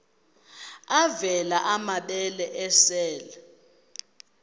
avela amabele esel